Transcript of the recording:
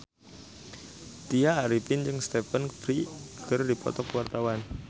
Tya Arifin jeung Stephen Fry keur dipoto ku wartawan